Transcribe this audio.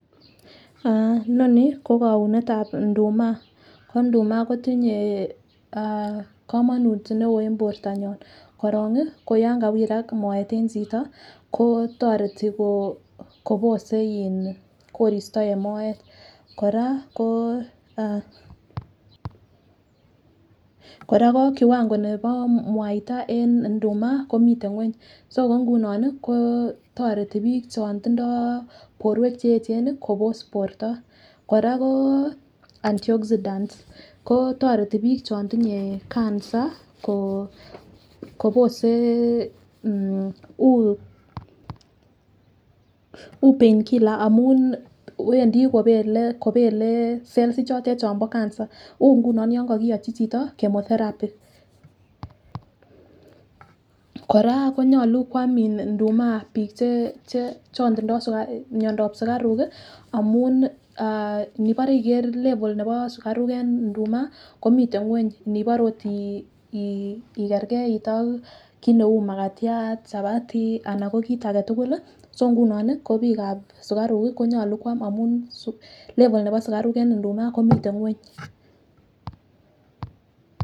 Aah noni ko kounetab nduma ko nduma kotinye ah komonut neo en bortonyon korongi ko yon kawirak moet en chito ko toreti kobose in koristo en moet. Koraa ko kiwango nebo mwaitab en nduma komiten ng'wony ko nguno ko toretii bik chon tindoi borwek cheyechen nii Kobos borto. Koraa ko anti oxidants ko toreti bik chon tinye cancer kobose kobosee mmh u pain killer amun wendii kobele kobele cell ichotet chombo cancer u nguno kokiyochi chito chemotherapy .Koraa konyolu kwam nduma bik chetinye miondap sukaruk kii amun inibore iker level nebo sukaruk en nduma komiten ng'weny nibore okot ii ikergeit ak kit neu makatyan , chapati anan ko kit agetukul kii si ngunon ko bikab sukaruk kii konyolu kwam amun suk level nebo sukaruk en nduma komiten ng'weny.